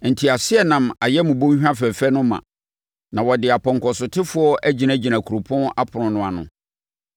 Nteaseɛnam ayɛ mo bɔnhwa fɛfɛ no ma, na wɔde apɔnkɔsotefoɔ agyinagyina kuropɔn apono no ano.